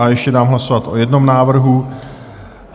A ještě dám hlasovat o jednom návrhu.